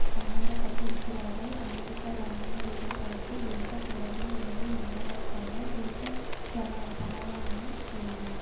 சம்மந்தப்பட்டிருந்திருக்கிறார்கள் அமெரிக்க இராணுவ வீரர்களுக்கு எந்த தொடர்பும் இல்லை என்பதாக ரீக்கர் சமாதானமும் கூறியுள்ளார்